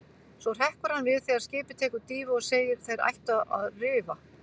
Svo hrekkur hann við þegar skipið tekur dýfu og segir: Þeir ættu að rifa.